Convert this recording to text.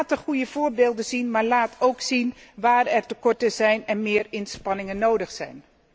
Laat goede voorbeelden zien, maar laat ook zien waar er tekorten zijn en meer inspanningen nodig zijn.